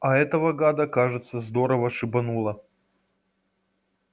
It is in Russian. а этого гада кажется здорово шибануло